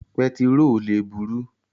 Pẹtiró le buru.